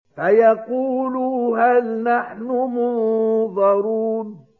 فَيَقُولُوا هَلْ نَحْنُ مُنظَرُونَ